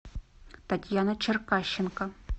татьяна черкащенко